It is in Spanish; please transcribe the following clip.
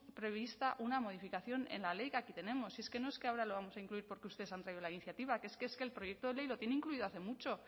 prevista una modificación en la ley que aquí tenemos si es que no es que ahora lo vamos a incluir porque ustedes han traído la iniciativa es que el proyecto de ley lo tiene incluido hace mucho